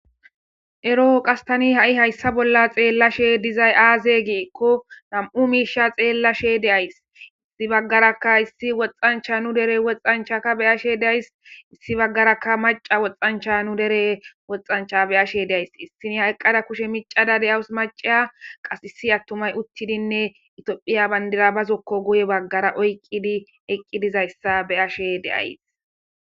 ero qas tani ha7i hayssa bolla xeellashe dizay aaze giikko nam7u miisha xeellashe deays issi baggarakka issi woxxancha nu dere woxxanchaka beyashe days issi baggarakka maca woxxancha nu dere woxancha beyashe deays issini hayqqada kushe micada deyawus maceya qas issi attumay uttidinne itoophiya bandira bazokko goye baggara oyqqidi eqqi dizayssa beyashe deays